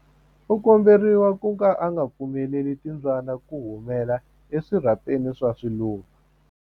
U komberiwa ku ka u nga pfumeleli timbyana ku humela eswirhapeni swa swiluva.